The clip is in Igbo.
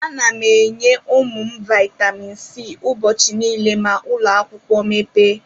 Ana m enye ụmụ m Vaitamin C ụbọchị niile ma ụlọakwụkwọ mepee.